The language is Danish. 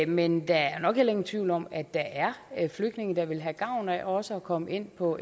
men der er nok heller ingen tvivl om at der er er flygtninge der vil have gavn af også at komme ind på